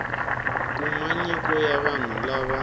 kuma nyiko ya vanhu lava